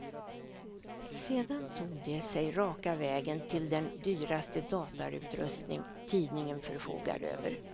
Sedan tog de sig raka vägen till den dyraste datorutrustning tidningen förfogar över.